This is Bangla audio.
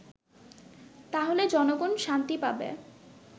তাহলে জনগন শান্তি পাবে